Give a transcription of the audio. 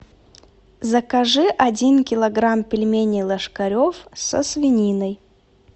закажи один килограмм пельменей ложкарев со свининой